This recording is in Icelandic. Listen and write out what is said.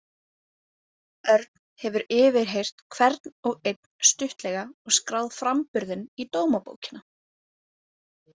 Örn hefur yfirheyrt hvern og einn stuttlega og skráð framburðinn í dómabókina.